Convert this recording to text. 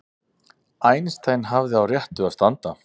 Einstein hafði á réttu að standa